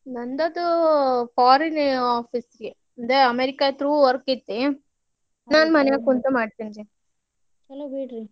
ನಂದದು foreign office ದೇ America through ಐತಿ. ನಾನು ಮನೇಲಿ ಕುಂತ್ ಮಾಡ್ತೆನ್ರಿ.